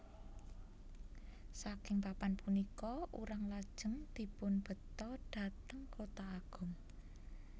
Saking papan punika urang lajeng dipun beto dhateng Kota Agung